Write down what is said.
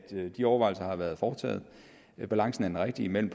de overvejelser har været foretaget og at balancen er den rigtige mellem